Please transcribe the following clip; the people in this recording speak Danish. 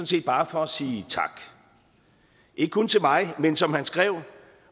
set bare for at sige tak ikke kun til mig men som han skrev